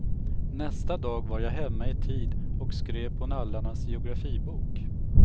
Nästa dag var jag hemma i tid och skrev på nallarnas geografibok.